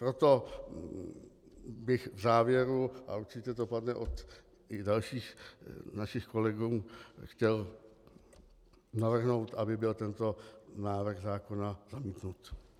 Proto bych v závěru, a určitě to padne od dalších našich kolegů, chtěl navrhnout, aby byl tento návrh zákona zamítnut.